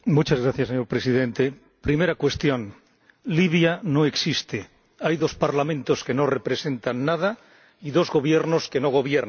Señor Presidente, primera cuestión Libia no existe, hay dos Parlamentos que no representan nada y dos Gobiernos que no gobiernan.